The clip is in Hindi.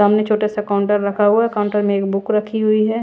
सामने छोटा सा काउंटर रखा हुआ है काउंटर में एक बुक रखी हुई है।